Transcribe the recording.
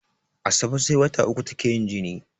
Asabe sai wata uku take yin jini